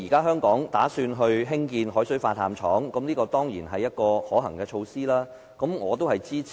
香港現時計劃興建海水化淡廠，這當然是可行的措施，我對此表示支持。